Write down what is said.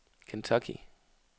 Kentucky